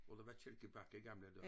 Hvor der var kælkebakke i gamle dage